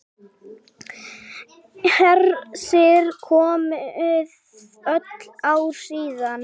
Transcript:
Hersir: Komið öll ár síðan?